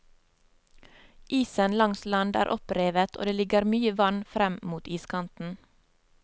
Isen langs land er opprevet og det ligger mye vann frem mot iskanten.